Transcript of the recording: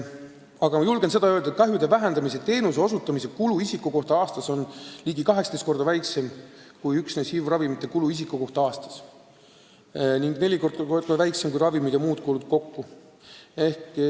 Aga ma julgen öelda, et kahjude vähendamise teenuse osutamise kulud isiku kohta aastas on ligi 18 korda väiksemad kui üksnes HIV-ravimite kulud isiku kohta aastas ning neli korda väiksemad kui ravimite kulud ja muud kulud kokku.